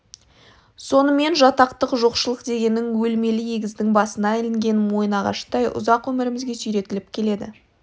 сонымен жатақтық жоқшылық дегенің өлмелі өгіздің басына ілінген мойынағаштай ұзақ өмірімізге сүйретіліп келеді